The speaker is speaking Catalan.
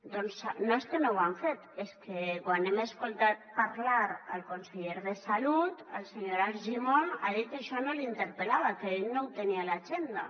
doncs no és que no ho han fet és que quan hem escoltat parlar el conseller de salut el senyor argimon ha dit que això no l’interpel·lava que ell no ho tenia a l’agenda